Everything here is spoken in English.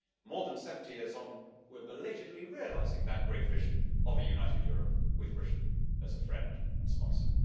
More than 70 years on, we are belatedly realising that great vision of a united Europe with Britain as a friend and sponsor.